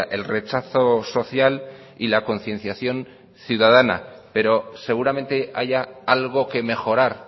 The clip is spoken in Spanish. el rechazo social y la concienciación ciudadana pero seguramente haya algo que mejorar